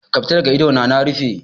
Ka fita daga idona na rufe.